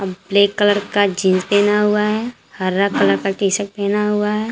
Black colour का jeans पहना हुआ है हरा कलर का टी शर्ट पहना हुआ है।